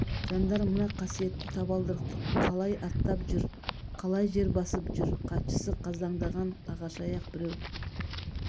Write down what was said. жандар мына қасиетті табалдырықты қалай аттап жүр қалай жер басып жүр хатшысы қаздаңдаған ағашаяқ біреу